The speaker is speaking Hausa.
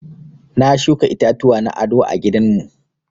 Na shuka itatuwa na aɗo a gidan mu.